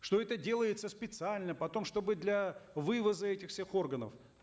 что это делается специально потом чтобы для вывоза этих всех органов